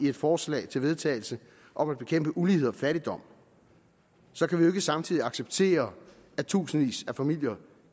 et forslag til vedtagelse om at bekæmpe ulighed og fattigdom så kan vi samtidig acceptere at tusindvis af familier